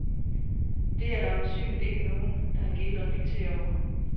Det er der øjensynligt ikke nogen, der har gidet reflektere over.